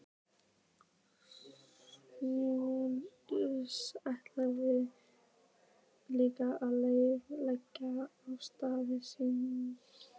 Hún ætlaði líka að leggja af stað síðdegis.